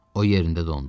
O yerində dondu.